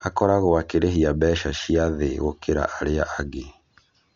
Akoragwo akĩrĩhia mbeca ciĩ thĩ gũkĩra arĩa angĩ